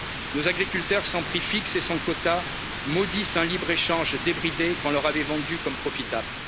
nationaux. Nos agriculteurs sans prix fixes et sans quotas maudissent un libre échange débridé qu'on leur avait vendu comme